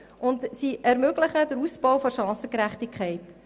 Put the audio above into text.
Diese ermöglicht den Ausbau der Chancengerechtigkeit.